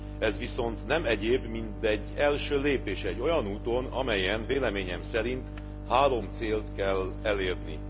Ez viszont nem egyéb, mint egy első lépés egy olyan úton, amelyen véleményem szerint három célt kell elérni.